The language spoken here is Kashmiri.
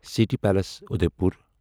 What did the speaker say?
city palace Udaipur